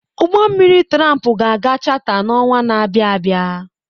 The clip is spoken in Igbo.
Ụgbọ mmiri tramp ga aga chata n'ọnwa na abịa abịa.